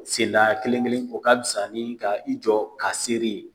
kelen-kelen o ka fisa ni ka i jɔ k'a seere ye